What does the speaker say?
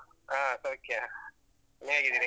ಹಾ ಹಾ. ಸೌಖ್ಯ, ನೀವ್ ಹೇಗಿದ್ದೀರಿ?